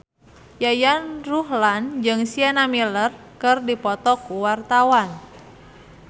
Yayan Ruhlan jeung Sienna Miller keur dipoto ku wartawan